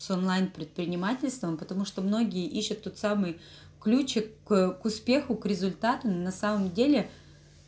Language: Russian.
с онлайн предпринимательством потому что многие ищут тот самый ключик а к успеху к результату на самом деле